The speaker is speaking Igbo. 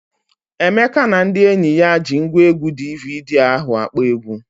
Emeka na ndị enyi ya ji ngwaegwu DVD ahụ akpọ egwu.